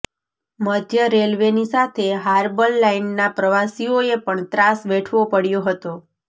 મધ્ય રેલવેની સાથે હાર્બર લાઇનના પ્રવાસીઓએ પણ ત્રાસ વેઠવો પડયો હતો